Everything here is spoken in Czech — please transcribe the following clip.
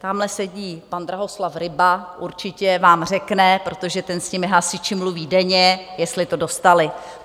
Tamhle sedí pan Drahoslav Ryba, určitě vám řekne, protože ten s těmi hasiči mluví denně, jestli to dostali.